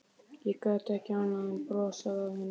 Ég gat ekki annað en brosað að henni.